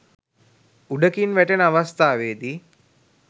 උඩකින් වැටෙන අවස්ථාවේදී